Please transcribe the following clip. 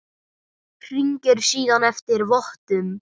Hringir síðan eftir vottum.